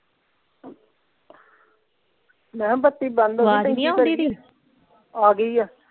ਮੈਂ ਕਿਹਾ ਬੱਤੀ ਬੰਦ ਹੋ ਗਈ ਆਵਾਜ਼ ਨਹੀਂ ਆਉਂਦੀ ਪਈ ਆ ਗਈ ਆ।